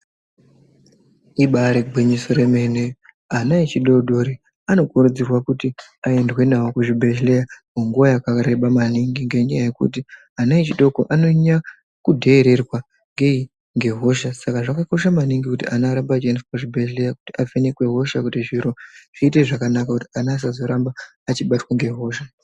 Ibaari gwinyiso remene, ana echidoodori anokurudzirwa kuti aendwe nawo kuzvibhehleya munguwa yakareba maningi ngenyaya yekuti ana adoko anonyanya kudheererwa ngei ngehosha. Saka zvakakosha maningi kuti ana arambe eiendeswa kuzvibhedhlera kuti avhenekwe hosha kuti zviro zviite zvakanaka, kuti ana asazoramba achibatwa ngehosha.